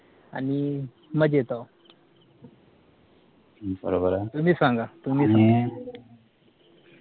आणि मजेत अहो तुम्ही सांगा तुम्ही